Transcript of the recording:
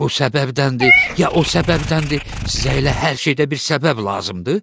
Bu səbəbdəndir, ya o səbəbdəndir, sizə elə hər şeydə bir səbəb lazımdır?